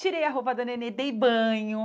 Tirei a roupa da neném, dei banho.